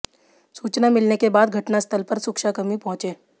सूचना मिलने के बाद घटनास्थल पर सुरक्षाकर्मी पहुंचे